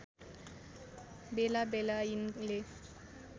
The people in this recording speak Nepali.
बेला बेला यिनले